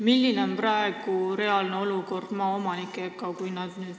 Millised on praegu suhted maaomanikega?